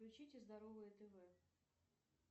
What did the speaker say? включите здоровое тв